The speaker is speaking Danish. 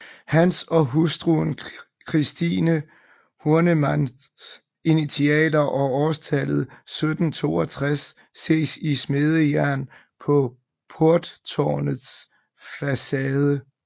Hans og hustruen Christine Hornemanns initialer og årstallet 1762 ses i smedejern på porttårnets facade